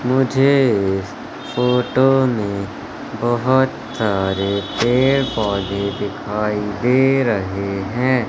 मुझे इस फोटो में बहोत सारे पेड़ पौधे दिखाई दे रहे हैं।